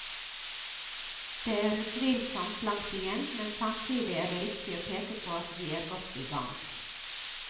Det er utvilsomt langt igjen, men samtidig er det riktig å peke på at vi er godt i gang.